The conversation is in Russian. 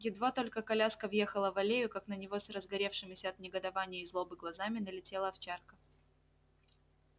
едва только коляска въехала в аллею как на него с разгоревшимися от негодования и злобы глазами налетела овчарка